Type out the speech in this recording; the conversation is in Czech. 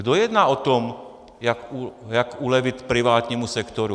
Kdo jedná o tom, jak ulevit privátnímu sektoru?